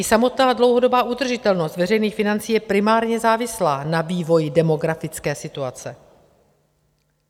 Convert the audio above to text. I samotná dlouhodobá udržitelnost veřejných financí je primárně závislá na vývoji demografické situace.